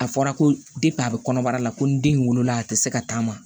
A fɔra ko a bɛ kɔnɔbara la ko ni den in wolola a tɛ se ka taama